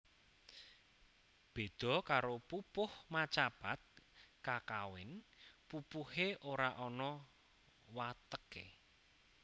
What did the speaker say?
Béda karo pupuh macapat kakawin pupuhé ora ana wateké